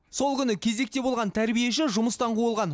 сол күні кезекте болған тәрбиеші жұмыстан қуылған